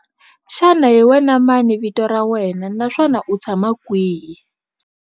Xana hi wena mani vito ra wena naswona u tshama kwihi?